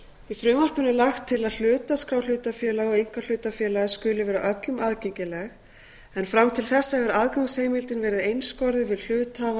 í frumvarpinu er lagt til að hlutaskrá hlutafélaga og einkahlutafélaga skuli vera öllum aðgengileg en fram til þessa hefur aðgangsheimildin verið einskorðuð við hluthafa